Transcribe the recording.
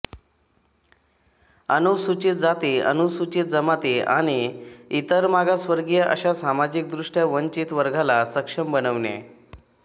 अनुसूचित जाती अनुसूचित जमाती आणि इतर मागासवर्गीय अशा सामाजिकदृष्ट्या वंचित वर्गाला सक्षम बनविणे